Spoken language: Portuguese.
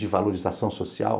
De valorização social.